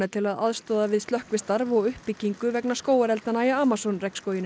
til að aðstoða við slökkvistarf og uppbyggingu vegna skógareldanna í Amazon